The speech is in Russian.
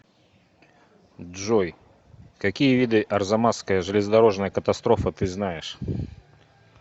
джой какие виды арзамасская железнодорожная катастрофа ты знаешь